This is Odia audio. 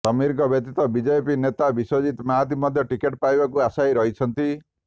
ସମୀରଙ୍କ ବ୍ୟତୀତ ବିଜେପି ନେତା ବିଶ୍ୱଜିତ୍ ମହାନ୍ତି ମଧ୍ୟ ଟିକେଟ୍ ପାଇବାକୁ ଆଶାୟୀ ରହିଛନ୍ତି